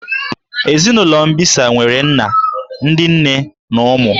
Ezinụlọ mbisa nwere nna, ndị nne na ụmụ